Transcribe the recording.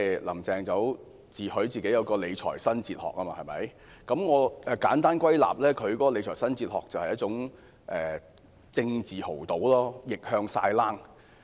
"林鄭"自詡有理財新哲學，我簡單歸納，她的理財新哲學便是一種政治豪賭，逆向"晒冷"。